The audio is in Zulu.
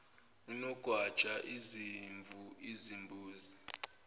onogwaja izimvu izimbuzi